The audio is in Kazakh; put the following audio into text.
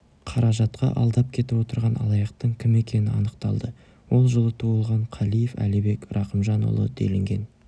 қаражатқа алдап кетіп отырған алаяқтың кім екені анықталды ол жылы туған қалиев әлибек рақымжанұлы делінген